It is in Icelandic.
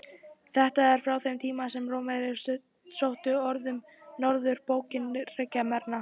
Þetta er frá þeim tíma er Rómverjar sóttu norður á bóginn í ríki Germana.